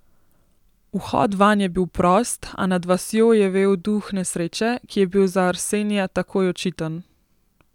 Vhod vanj je bil prost, a nad vasjo je vel duh nesreče, ki je bil za Arsenija takoj očiten.